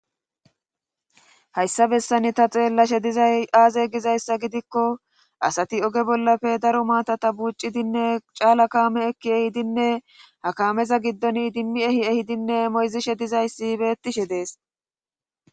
hayssa bessani ta xeellashe dizay aaze gizayssa gidikko asati oge bollafe daro maatata buuccidinne caala kaame ekki ehidinne hakameza giddon dimmi ehi ehidinne moyzishe dizayssi bettishe dees